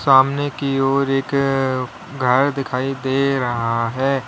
सामने की ओर एक अअ घर दिखाई दे रहा है।